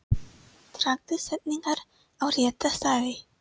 Dragðu setningar á rétta staði.